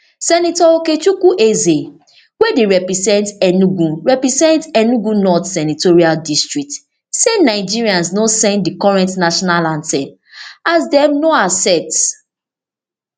senator okechukwu eze wey dey represent enugu represent enugu north senatorial district say nigerians no send di current national anthem as dem no accept